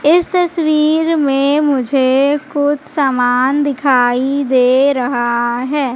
इस तस्वीर में मुझे कुछ सामान दिखाई दे रहा है।